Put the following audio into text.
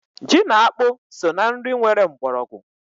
Ji na akpụ so na nri nwere mgbọrọgwụ.